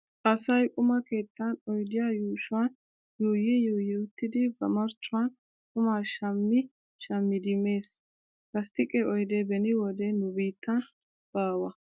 Asay quma keettan oydiyaa yuushuwaan yuuyyi yuuyyi uttidi ba marccuwaan qumaa shammi shammidi mees. Lasttiqe oydee beni wode nu biittan baawa.